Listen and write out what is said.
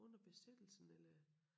Under Besættelsen eller